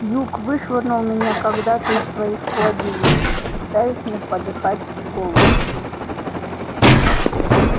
юг вышвырнул меня когда-то из своих владений представив мне подыхать с голоду